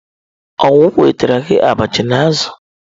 Ọ wu m wetara gị abacha na azu?